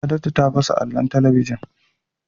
Saadatu ta fasa allon talabijin.